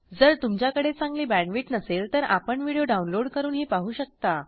जर तुमच्याकडे चांगली बॅण्डविड्थ नसेल तर आपण व्हिडिओ डाउनलोड करूनही पाहू शकता